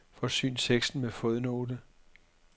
Forsyn teksten med fodnote.